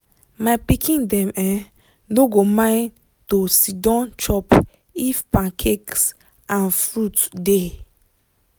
my pikin dem um no go mind to siddon chop if pancakes and fruit dey.